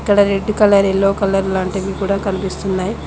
ఇక్కడ red colour yellow colour లాంటివి కూడా కనిపిస్తున్నాయి.